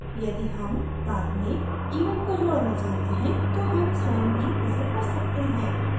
यदि हम बाद में event को जोडना चाहते हैं तो हम स्वयं ही इसे कर सकते हैं